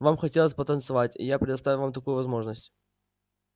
вам хотелось потанцевать и я предоставил вам такую возможность